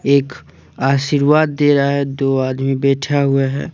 एक आशीर्वाद दे रहा है दो आदमी बैठा हुआ है।